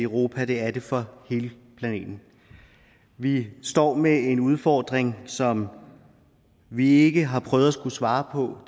i europa og det er den for hele planeten vi står med en udfordring som vi ikke tidligere har prøvet at skulle svare på